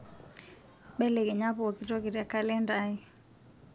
belekenya pooki tooki tee kalenda ai